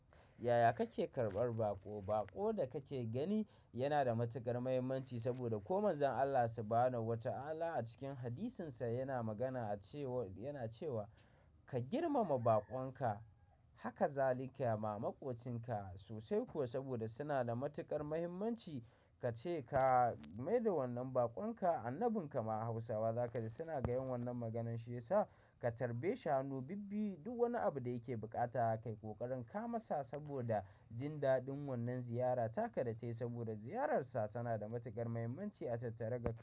Yaya kake karɓar baƙo? Baƙo da kake gani yana da matuƙar mahimmanci saboda ko mazan Allah sibanawataallah a cikin hadisinsa yana magana a cewa yana cewa "ka girmama baƙonka haka zalika ma maƙocinka" sosai kuwa saboda suna da matuƙar mahimmanci kace ka mai da wannan baƙonka annabin kama Hausawa za kaji suna ga yin wannan maganan shi yasa ka tarbe shi hannun bibiyu duk wani abu da yake bukata kayi ƙoƙarin kawo masa saboda jin daɗin wannan ziyara taka da ta yi saboda ziyararsa tana da matuƙar mahimmanci a tattare ga.